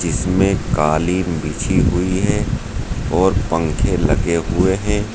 इसमें कालीन बिछी हुई है और पंखे लगे हुए है।